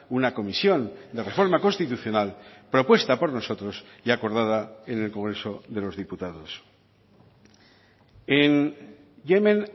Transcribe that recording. una comisión de reforma constitucional propuesta por nosotros y acordada en el congreso de los diputados en yemen